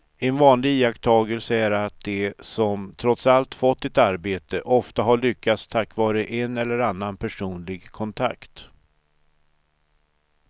En vanlig iakttagelse är att de som trots allt fått ett arbete ofta har lyckats tack vare en eller annan personlig kontakt.